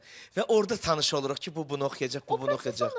Və orda tanış oluruq ki, bu bunu oxuyacaq, bu bunu oxuyacaq.